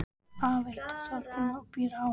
Afi heitir Þorfinnur og býr á